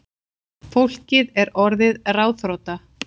Fólkið er orðið ráðþrota